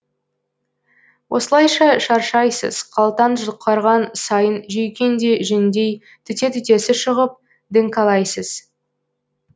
осылайша шаршайсыз қалтаң жұқарған сайын жүйкең де жүндей түте түтесі шығып діңкәлайсыз